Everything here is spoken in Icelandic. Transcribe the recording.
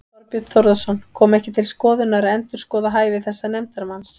Þorbjörn Þórðarson: Kom ekki til skoðunar að endurskoða hæfi þessa nefndarmanns?